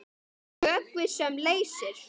Vökvi sem leysir